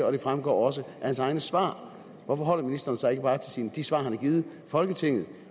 og det fremgår også af hans egne svar hvorfor holder ministeren sig ikke bare til de svar han har givet folketinget